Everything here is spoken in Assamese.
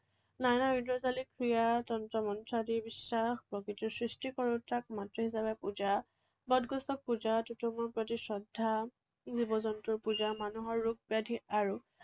নানা ঐন্দ্ৰজালিক ক্ৰিয়া, তন্ত্ৰ মন্ত্ৰ আদি বিশ্বাস, প্ৰকৃতিৰ সৃষ্টি কৰোতাক মাতৃ হিচাপে পূজা, বট গছক পূজা, তীৰ্থসমূহৰ প্ৰতি শ্ৰদ্ধা, জীৱ জন্তুৰ পূজা, মানুহৰ ৰোগ ব্যাধি আৰু